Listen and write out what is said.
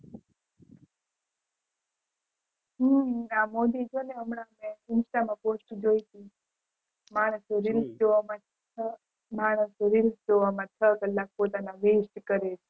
હમ આ મોદી છે ને insta માં post જોઈ હતી માણસો rees જોવામાં માણસો rees જોવામાં છ કલાક પોતાના vest કરે છે